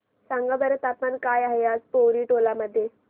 सांगा बरं तापमान काय आहे आज पोवरी टोला मध्ये